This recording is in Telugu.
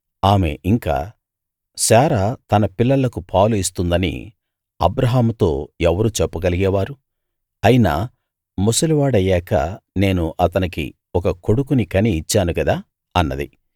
ఆమె ఇంకా శారా తన పిల్లలకు పాలు ఇస్తుందని అబ్రాహాముతో ఎవరు చెప్పగలిగే వారు అయినా ముసలివాడయ్యాక నేను అతనికి ఒక కొడుకుని కని ఇచ్చాను గదా అన్నది